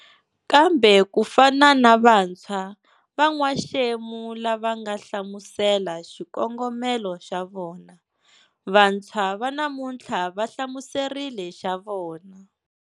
Kambe ku fana na vantshwa va n'waxemu lava nga hlamusela xikongomelo xa vona, vantshwa va namutlhla va hlamuserile xa vona.